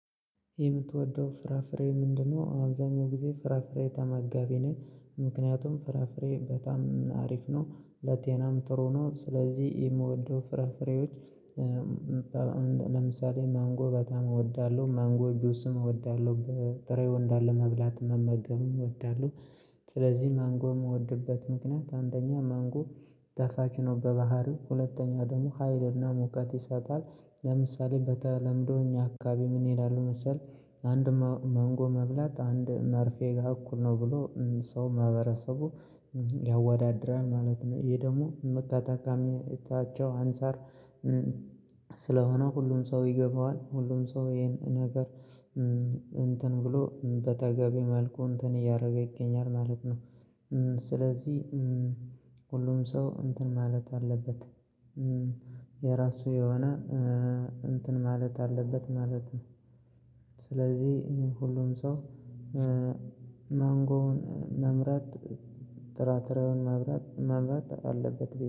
የምትወደው ፍራፍሬ ምንድነው? አብዛኛው ጊዜ ፍራፍሬ ተመጋቢ ነን ምክንያቱም ፍራፍሬ በጣም አሪፍ ነው ለጤናም ጥሩ ነው ስለዚህ የምወደው ፍራፍሬዎች። አሁን ለምሳሌ ማንጎ በጣም እወዳለሁ ማንጎ ጅስም እወዳለሁ በጥሬው እንዳለ መብላት መመገብም እወዳለሁ። ስለዚህ ማንጎ የምወድበት ምክንያት አንደኛ ማንጎ ጣፋጭ ነው በባህሪው ሁለተኛ ደግሞ ሀይልና ሙቀት ይሰጣል። ለምሳሌ በተለምዶ እኛ አካባቢ ምን ይላሉ መሰለህ አንድ ማ ማንጎ መብላት አንድ መርፌ ጋር እኩል ነው ብሎ ሰው ማህበረሰቡ ያወዳድራል ማለት ነው። ይሄ ደግሞ መቃታካሚ ታቸው አንፃር። ስለሆነ ሁሉም ሰው ይገባዋል ሁሉም ሰው ይሄን ነገር እንትን ብሎ በተገቢ መልኩ እንትን እያደረገ ይገኛል ማለት ነው። ስለዚህ ሁሉም ሰው እንትን ማለት አለበት። የራሱ የሆነ እንትን ማለት አለበት ማለት ነው። ስለዚህ ሁሉም ሰው ማንጎውን መምረጥ ጥራጥሬውን መምረጥ መምረጥ አለበት